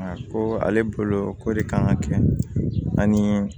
Ko ale bolo ko de kan ka kɛ ani